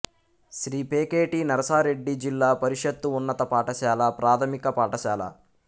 శ్రీ పేకేటి నరసారెడ్డి జిల్లా పరిషత్తు ఉన్నత పాఠశాల ప్రాథమిక పాఠశాల